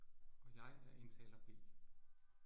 Og jeg er indtaler B